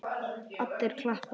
Allir klappa.